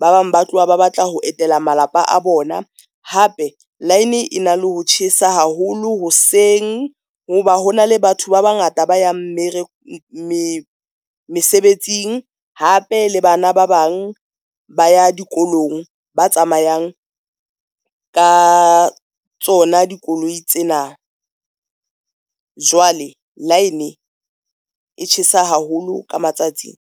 ba bang ba tloha ba batla ho etela malapa a bona. Hape line e na le ho tjhesa haholo hoseng ho ba hona le batho ba bangata ba yang mesebetsing. Hape le bana ba bang ba ya dikolong, ba tsamayang ka tsona dikoloi tsena jwale line e tjhesa haholo ka matsatsing.